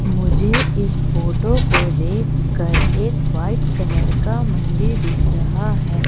मुझे इस फोटो को देखकर एक वाइट कलर का मंदिर दिख रहा है।